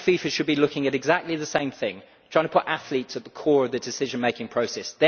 I think FIFA should be looking at exactly the same thing trying to put athletes at the core of the decision making process.